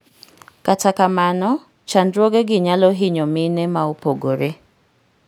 kata kamano chandruoge gi nyalo hinyo mine ma opogore